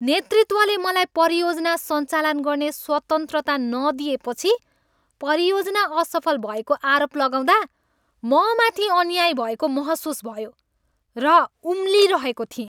नेतृत्वले मलाई परियोजना सञ्चालन गर्ने स्वतन्त्रता नदिएपछि परियोजना असफल भएको आरोप लगाउँदा म माथि अन्याय भएको महसुस भयो र उम्लिरहेको थिएँ।